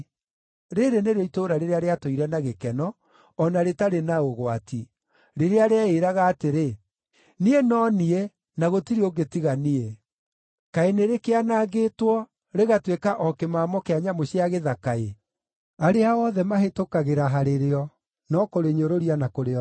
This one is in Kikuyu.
Rĩĩrĩ nĩrĩo itũũra rĩrĩa rĩratũire na gĩkeno, o na rĩtarĩ na ũgwati. Rĩrĩa rĩeĩĩraga atĩrĩ, “Niĩ no niĩ, na gũtirĩ ũngĩ tiga niĩ.” Kaĩ nĩrĩkĩanangĩtwo, rĩgatuĩka o kĩmamo kĩa nyamũ cia gĩthaka-ĩ! Arĩa othe mahĩtũkagĩra harĩ rĩo no kũrĩnyũrũria na kũrĩorota.